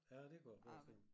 Ja det kunne jeg forestille mig